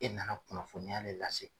E na na kunnafoniya le lase.